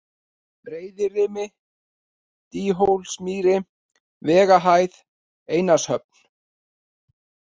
Breiðirimi, Dýhólsmýri, Vegahæð, Einarshöfn